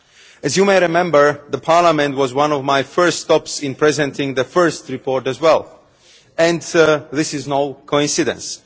As you may remember, Parliament was one of my first stops in presenting the first report as well, and this is no coincidence.